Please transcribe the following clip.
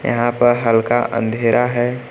यहां पर हल्का अंधेरा है।